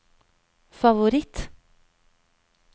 favoritt